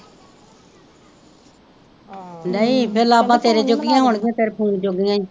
ਨਹੀਂ ਫਿਰ ਲਾਬਾ ਤੇਰੇ ਜੋਗੀਆ ਹੋਣ ਗੀਆ ਤੇਰੇ ਫੋਨ ਜੋਗੀਆ ਈ।